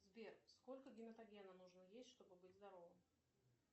сбер сколько гематогена нужно есть чтобы быть здоровым